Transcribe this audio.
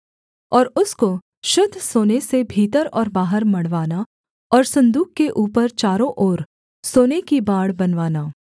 और उसको शुद्ध सोने से भीतर और बाहर मढ़वाना और सन्दूक के ऊपर चारों ओर सोने की बाड़ बनवाना